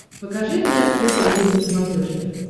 покажи мне открытый мир на смотрешке